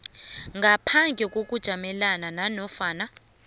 ngaphandle kokujamelana nanofana